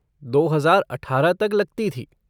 दो हजार अठारह तक लगती थी।